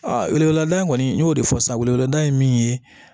weleweleda kɔni n y'o de fɔ sisan weleweleda ye min ye